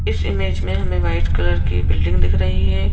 इस इमेज में हमें व्हाइट कलर की बिल्डिंग दिख रही है।